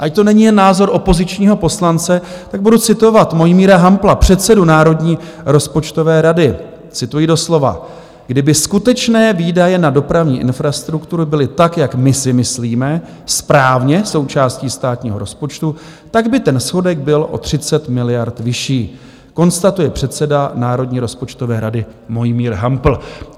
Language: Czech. Ať to není jen názor opozičního poslance, tak budu citovat Mojmíra Hampla, předsedu Národní rozpočtové rady - cituji doslova: "Kdyby skutečné výdaje na dopravní infrastruktury byly tak, jak my si myslíme, správně součástí státního rozpočtu, tak by ten schodek byl o 30 miliard vyšší," konstatuje předseda Národní rozpočtové rady Mojmír Hampl.